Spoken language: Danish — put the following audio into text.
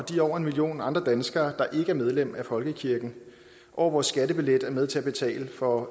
de over en million andre danskere der ikke er medlem af folkekirken over vores skattebillet er med til at betale for